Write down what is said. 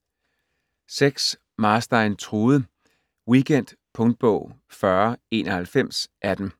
Marstein, Trude: Weekend Punktbog 409118